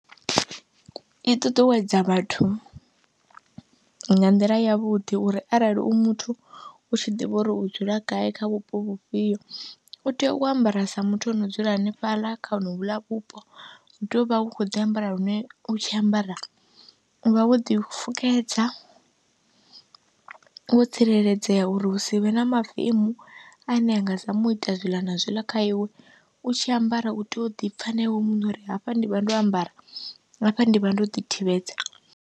I ṱuṱuwedza vhathu nga nḓila yavhuḓi uri arali u muthu u tshi ḓivha uri u dzula gai kha vhupo vhufhio u tea u ambara sa muthu ano dzula hanefhaḽa kha honovhuḽa vhupo, u tea u vha u khou ḓi ambara lune u tshi ambara, u vha wo ḓifukedza, wo tsireledzea uri hu si vhe na mavemu ane a nga zama u ita zwiḽa na zwiḽa kha iwe. U tshi ambara u tea u ḓi pfha na iwe muṋe uri hafha ndi vha ndo ambara, hafha ndi vha ndo ḓithivhedza.